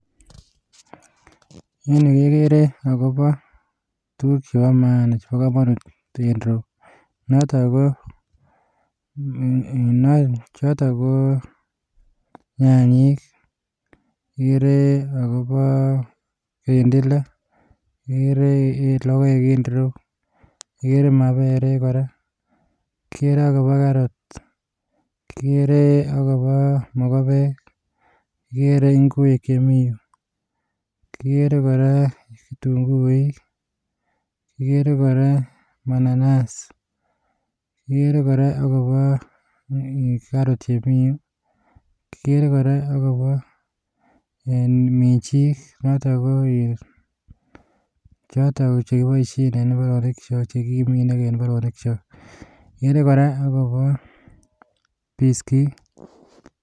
En yu kegere akoboo tuguuk chebo mana, chebo komonut en ireyu, notok ko nyanyik. Kigere akobo kirindila, kigere logoek en ireyu. Kigere maberek kora. Kigere akobo karots. Kigere akoboo mokobek, kigere ing'wek chemi yuh, kigere kora kitung'uuik, kigere kora mananas. Kigere kora akobo karot chemi yu. Kigere kora akobo minjii, notok koin chekiboishien en korik chekikimin en imbaroonikchook. Kigere kora akobo biskiit